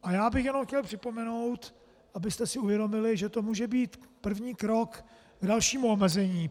A já bych jenom chtěl připomenout, abyste si uvědomili, že to může být první krok k dalšímu omezení.